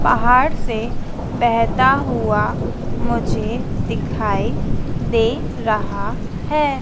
पहाड़ से बहता हुआ मुझे दिखाई दे रहा है।